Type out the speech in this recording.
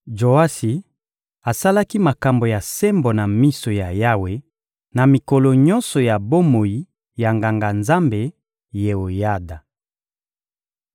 Joasi asalaki makambo ya sembo na miso ya Yawe na mikolo nyonso ya bomoi ya Nganga-Nzambe Yeoyada.